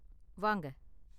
வாங்க.